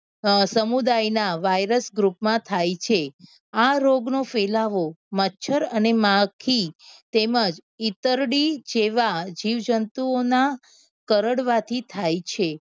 અ સમુદાય ના virus group માં થાય છે રોગ નો ફેલાવો મચ્છર અને માખી તેમજ ઇતરડી જેવા જીવ જંતુઓ ના કરડવા થી થાય છે.